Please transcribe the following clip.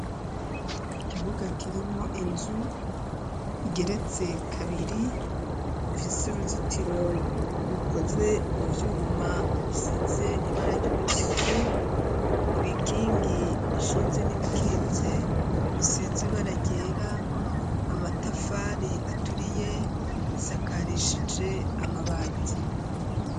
Ikibuga kirimwo inzu igeretse kabiri ifise uruzitiro rukoze mu vyuma bisize ibara ry'umutuku, ibikingi bishinze n'ibikitse bisize ibara ryera, amatafari aturiye bisakarishije amabati.